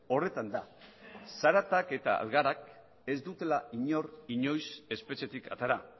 horretan da zaratak eta algarak ez dutela inor inoiz espetxetik atera